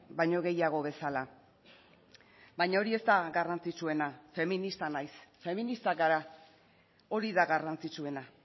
baino gehiago bezala baina hori ez da garrantzitsuena feminista naiz feministak gara hori da garrantzitsuena